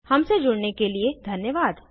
हमसे जुड़ने के लिए धन्यवाद